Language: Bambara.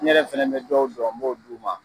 Ne yɛrɛ fana bɛ dɔw dɔ n b'o di u ma.